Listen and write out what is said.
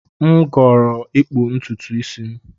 M ga-ahọrọ ịkpụtu isi m